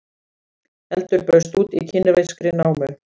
Eldur braust út í kínverskri námu